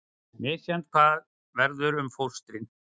Misjafnt hvað verður um fóstrin